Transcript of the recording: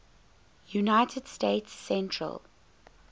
united states central